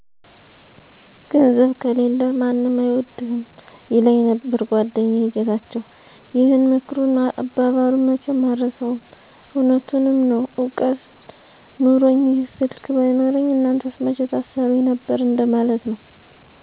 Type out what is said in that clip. ''ገንዘብ ከሌለህ ማንም አይወድህም''ይለኘመ ነበር ጎደኛየ ጌታቸው ይህን ምክሩንና አባባሉን መቸም አረሳውም እውነቱንምዐነው እውቀት ኑኖኚ ይህ ስልክ ባይኖረኚ እናንተስ መቸ ታሰሩኚ ነበር እንደ ማለት ነው።